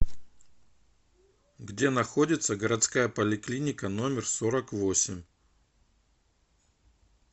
где находится городская поликлиника номер сорок восемь